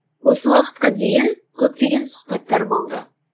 осы уақытқа дейін көптеген сұхбаттар болды